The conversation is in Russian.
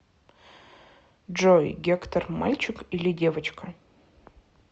джой гектор мальчик или девочка